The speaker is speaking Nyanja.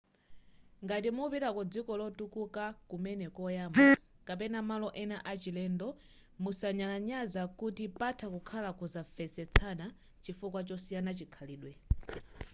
ngati mupita ku dziko lotukuka kumene koyamba kapena malo ena a chilendo musanyalanyaza kuti patha kukhala kusanvetsesana chifukwa chosiyana chikhalidwe